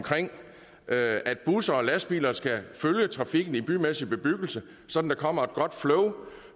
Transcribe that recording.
at at busser og lastbiler skal følge trafikken i bymæssig bebyggelse så der kommer et godt flow